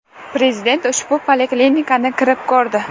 Prezident ushbu poliklinikani kirib ko‘rdi.